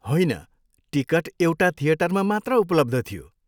होइन, टिकट एउटा थिएटरमा मात्र उपलब्ध थियो।